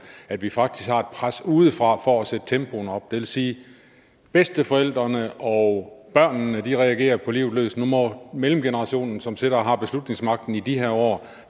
at vi faktisk har et pres udefra for at sætte tempoet op det vil sige at bedsteforældrene og børnene reagerer på livet løs og nu må mellemgenerationen som sidder og har beslutningsmagten i de her år